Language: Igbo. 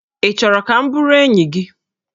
Ị chọrọ ka m bụrụ enyi gị?